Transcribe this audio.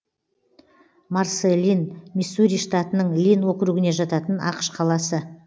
марсэлин миссури штатының линн округіне жататын ақш қаласы